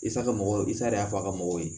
Isa ka mɔgɔw i sa de y'a fɔ a ka mɔgɔw ye